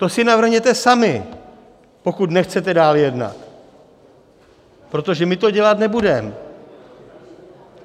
To si navrhněte sami, pokud nechcete dál jednat, protože my to dělat nebudeme.